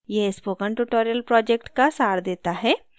यह spoken tutorial project का सार देता है